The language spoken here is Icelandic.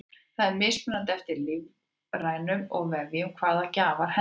það er mismunandi eftir líffærum og vefjum hvaða gjafar henta